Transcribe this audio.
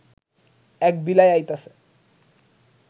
এক বিলাই আইতাছে